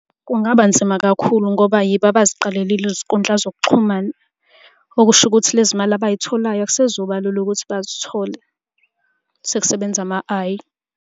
Kungaba nzima kakhulu ngoba yibo abaziqalelile izinkundla zokuxhumana, okusho ukuthi lezi mali abay'tholayo akusezukuba lula ukuthi bazithole. Sekusebenza ama-I.